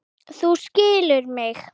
Þú skilur mig.